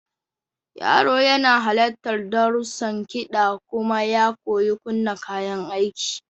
Yaro yana halartar darussan kiɗa kuma ya koyi kunna kayan aiki.